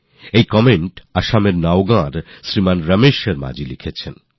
এই কমেন্ট আসামের নওগাঁর শ্রীযুক রমেশ শর্মা জী লিখেছেন